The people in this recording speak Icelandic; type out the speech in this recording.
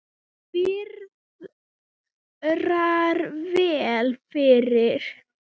Það viðrar vel fyrir